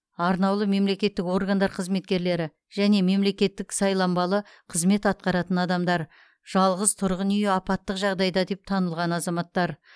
арнаулы мемлекеттік органдар қызметкерлері және мемлекеттік сайланбалы қызмет атқаратын адамдар жалғыз тұрғын үйі апаттық жағдайда деп танылған азаматтар